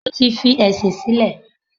Mo ti fi ẹ̀sìn sílẹ̀.